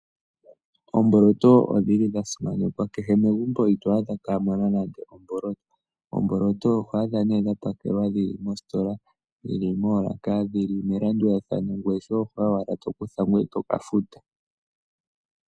Omboloto odhili dhasimanekwa kehe megumbo ito adhamo kamuna nande omboloto. Oomboloto oho adha nee dhapakelwa dhili mositola dhili moolaka dhili melandulathano ngoye shoye okuya owala tokutha ee toka futa.